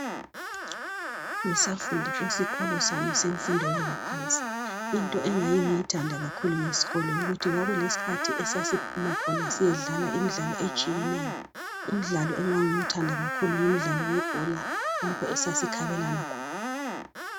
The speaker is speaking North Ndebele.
Ngisafunda esikolo sami semfundo yaphansi into engangiyithanda kakhulu ngesikolo yikuthi kwakulesikhathi lapho esasiphuma khona siyedlala imidlalo etshiyeneyo umdlalo engangiwuthanda kakhulu ngumdlalo webhola lapho esasikhabelana khona.